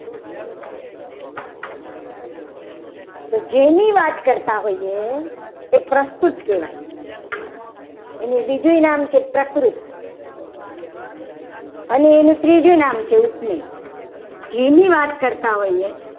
તો જેની વાત કરતા હોઈએ. એ પ્રસ્તુત કહેવાય. એનું બીજું નામ છે. પ્રકૃ અને એનું ત્રીજું નામ છે. મે ઉપમેય